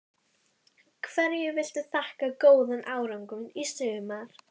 Hverju viltu þakka góðan árangur í sumar?